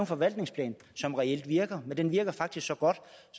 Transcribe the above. forvaltningsplan som reelt virker men den virker faktisk så godt